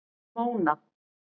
Móna